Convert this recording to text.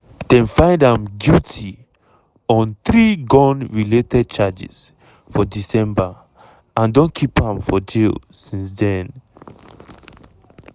dem find am guilty on three gun-related charges for december and don keep am for jail since den.